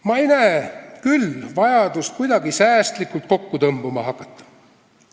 Ma ei näe küll vajadust kuidagi säästlikult kokku tõmbama hakata.